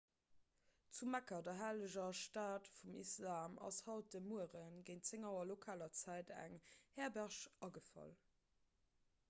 zu mekka der helleger stad vum islam ass haut de muere géint 10 auer lokaler zäit eng herberg agefall